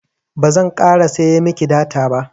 bazan ƙara siya miki data ba